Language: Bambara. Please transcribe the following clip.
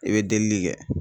I bɛ delili kɛ.